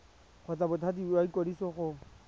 kgotsa bothati jwa ikwadiso go